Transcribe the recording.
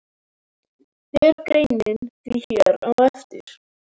Fer greinin því hér á eftir.